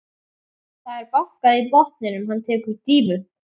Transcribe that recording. Það er bankað í botninn, hann tekur dýfu.